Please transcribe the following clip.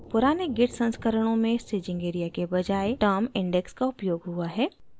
पुराने git संस्करणों में staging area के बजाय term index का उपयोग हुआ है